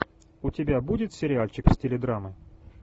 у тебя будет сериальчик в стиле драмы